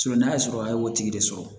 n'a y'a sɔrɔ a y'o tigi de sɔrɔ